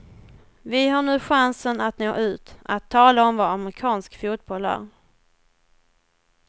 Vi har nu chansen att nå ut, att tala om vad amerikansk fotboll är.